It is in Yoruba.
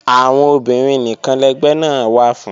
Àwọn obìnrin nìkan lẹgbẹ́ náà wà fún